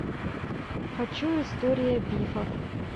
хочу история бифов